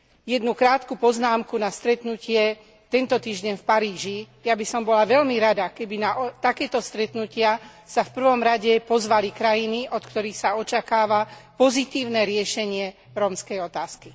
Jednu krátku poznámku na stretnutie tento týždeň v Paríži ja by som bola veľmi rada, keby na takéto stretnutia sa v prvom rade pozvali krajiny, od ktorých sa očakáva pozitívne riešenie rómskej otázky.